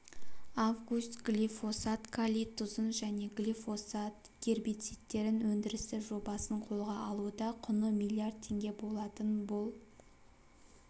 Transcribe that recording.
август глифосат калий тұзын және глифосат гербицидтерін өндірісі жобасын қолға алуда құны миллиард теңге болатын бұл